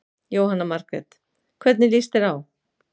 Jóhanna Margrét: Hvernig líst þér á?